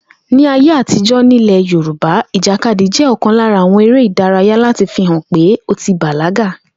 Ní ayé àtijó̩ nílè̩ Yorùbá, ìjàkadì jé̩ ò̩kan lára àwo̩n eré ìdárayá láti fi hàn pé ó ti bàlágà